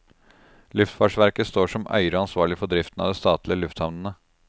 Luftfartsverket står som eier og ansvarlig for driften av de statlige lufthavnene.